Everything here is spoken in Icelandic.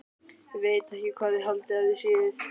Ég veit ekki hvað þið haldið að þið séuð.